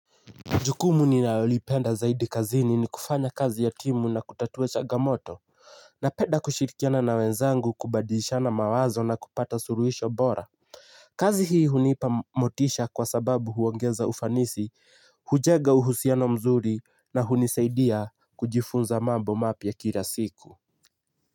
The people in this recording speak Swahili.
Jukumu ninalolipenda zaidi kazini ni kufanya kazi ya timu na kutatua changamoto. Napenda kushirikiana na wenzangu kubadilishana mawazo na kupata suluhisho bora. Kazi hii hunipa motisha kwa sababu huongeza ufanisi, hujenga uhusiano mzuri na hunisaidia kujifunza mambo mapya kila siku.